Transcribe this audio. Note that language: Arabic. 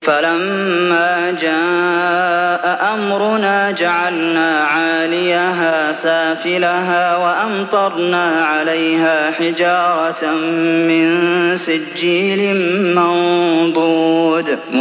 فَلَمَّا جَاءَ أَمْرُنَا جَعَلْنَا عَالِيَهَا سَافِلَهَا وَأَمْطَرْنَا عَلَيْهَا حِجَارَةً مِّن سِجِّيلٍ مَّنضُودٍ